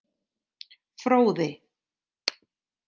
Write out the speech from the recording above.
Fróði